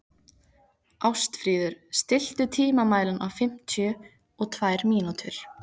Ástfríður, stilltu tímamælinn á fimmtíu og tvær mínútur.